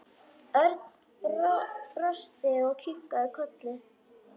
Örn brosti og kinkaði kolli.